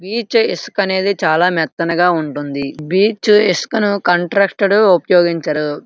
Beach ఇసుక అన్నది చాలా మెత్తనుగా ఉంటున్నది బీచ్ ఇసుకను కంట్రస్టడ్ ఉపయోగించరు.